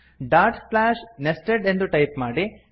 dot slash nested ಎಂದು type ಮಾಡಿ